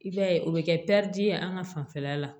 I b'a ye o bɛ kɛ ye an ka fanfɛla la